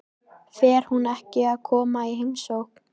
Fer hún ekki að koma í heimsókn?